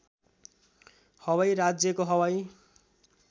हवाई राज्यको हवाई